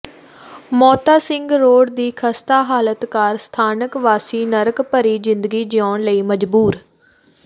Mota Singh road ਦੀ ਖਸਤਾ ਹਾਲਤ ਕਾਰਨ ਸਥਾਨਕ ਵਾਸੀ ਨਰਕ ਭਰੀ ਜ਼ਿੰਦਗੀ ਜਿਊਣ ਲਈ ਮਜਬੂਰ